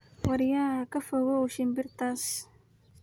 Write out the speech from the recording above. Waryah kaa fokaw shimbirtas.